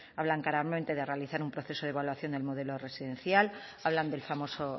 hablan claramente de realizar un proceso de evaluación del modelo residencial hablan del famoso